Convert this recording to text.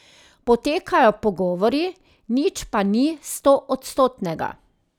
Potekajo pogovori, nič pa ni stoodstotnega.